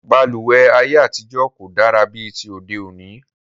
Balùwẹ́ ayé àtijọ́ kò dára bí ti òde òní